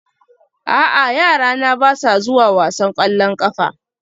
A'a yarana ba sa zuwa wasan ƙwallon ƙafa